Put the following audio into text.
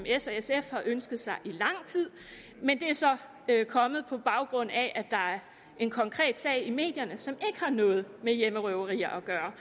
s og sf har ønsket sig i lang tid men det er så kommet på baggrund af at der er en konkret sag i medierne som ikke har noget med hjemmerøverier at gøre